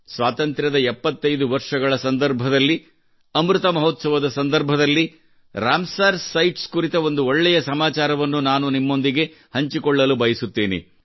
ಸ್ವಾತಂತ್ರ್ಯದ 75 ವರ್ಷಗಳ ಸಂದರ್ಭದಲ್ಲಿ ಅಮೃತ ಮಹೋತ್ಸವದ ಸಂದರ್ಭದಲ್ಲಿ ರಾಮಸರ್ ಸೈಟ್ಸ್ ಕುರಿತ ಒಂದು ಒಳ್ಳೆಯ ಸಮಾಚಾರವನ್ನು ನಾನು ನಿಮ್ಮೊಂದಿಗೆ ಹಂಚಿಕೊಳ್ಳಲು ಬಯಸುತ್ತೇನೆ